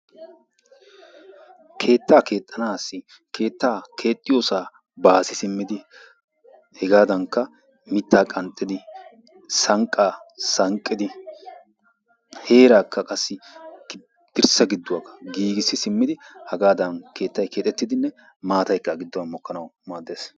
Keettan keexxanaassi keettan keexxiyosaa baasi simmidi hegaadankka mittaa qanxxidi sanqqaa sanqqidi heeraakka qassi dirssa gidduwakka giigissi simmidi hagadan keettayi keexettidinne maataykkaba gidduwan mokkanawu maaddes.